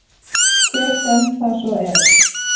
Hver sem það svo er.